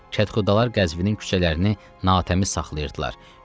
çətirxudalar Qəzvinin küçələrini natəmiz saxlayırdılar.